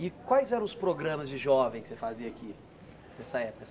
E quais eram os programas de jovem que você fazia aqui nessa época assim?